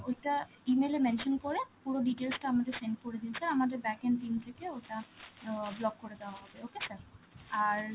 ওইটা E-mail এ mention করে, পুরো details টা আমাদের send করে দিন sir, আমাদের backend team থেকে ওটা অ্যাঁ block করে দেওয়া হবে, okay sir? আর